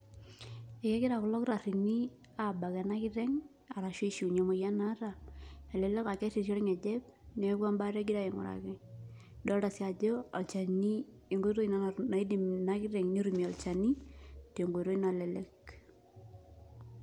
Egira kulo kitarrini abak ena kiteng',arashu aishiunye emoyian naata, elelek ah kerrirri orng'ejep, neeku embaata egirai aing'uraki. Idolta si ajo, olchani enkoitoi ina naidim ina kiteng' netumie olchani, tenkoitoi nalelek.